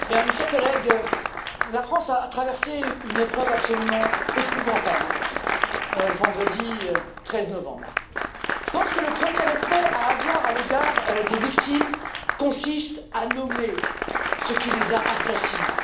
Monsieur le Président, mes chers collègues, la France a traversé une épreuve absolument épouvantable le vendredi 13 novembre. Je pense que le premier respect à avoir à l'égard des victimes consiste à nommer ce qui les a assassinés.